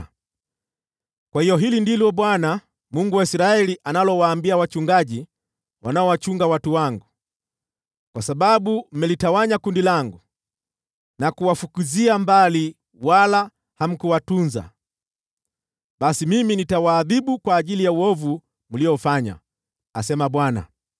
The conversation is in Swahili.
Kwa hiyo hili ndilo Bwana , Mungu wa Israeli, analowaambia wachungaji wanaowachunga watu wangu: “Kwa sababu mmelitawanya kundi langu na kuwafukuzia mbali, wala hamkuwatunza, basi mimi nitawaadhibu kwa ajili ya uovu mliofanya,” asema Bwana .